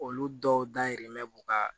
Olu dɔw dayirimɛ b'u ka